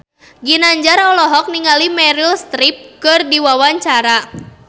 Ginanjar olohok ningali Meryl Streep keur diwawancara